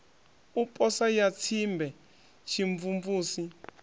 u posa ya tsimbe tshimvumvusi